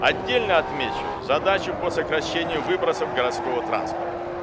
отдельно отмечу задачу по сокращению выбросов городского транспорта